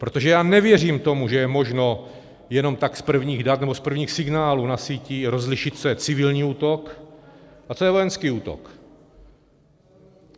Protože já nevěřím tomu, že je možno jenom tak z prvních dat nebo z prvních signálů na síti rozlišit, co je civilní útok a co je vojenský útok.